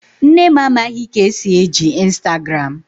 Nne m amaghị ka esi eji Instagram.